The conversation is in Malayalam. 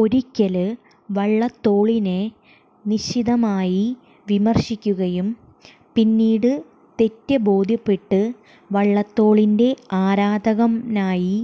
ഒരിക്കല് വള്ളത്തോളിനെ നിശിതമായി വിമര്ശിക്കുകയും പിന്നീട് തെറ്റ് ബോധ്യപ്പെട്ട് വള്ളത്തോളിന്റെ ആരാധകനായി